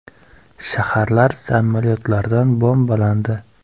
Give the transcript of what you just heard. Shaharlar samolyotlardan bombalandi.